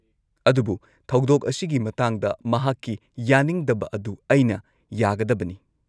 -ꯑꯗꯨꯕꯨ, ꯊꯧꯗꯣꯛ ꯑꯁꯤꯒꯤ ꯃꯇꯥꯡꯗ ꯃꯍꯥꯛꯀꯤ ꯌꯥꯅꯤꯡꯗꯕ ꯑꯗꯨ ꯑꯩꯅ ꯌꯥꯒꯗꯕꯅꯤ ꯫